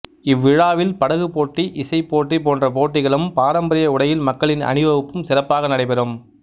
இவ்விழாவில் படகுப் போட்டி இசைப்போட்டி போன்ற போட்டிகளும் பாரம்பரிய உடையில் மக்களின் அணிவகுப்பும் சிறப்பாக நடைபெறும்